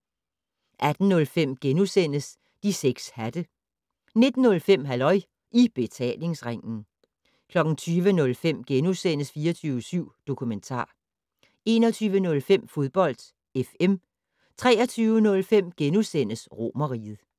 18:05: De 6 hatte * 19:05: Halløj I Betalingsringen 20:05: 24syv Dokumentar * 21:05: Fodbold FM 23:05: Romerriget *